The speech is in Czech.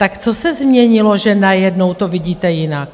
Tak co se změnilo, že najednou to vidíte jinak?